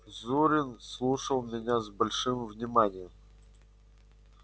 зурин слушал меня с большим вниманием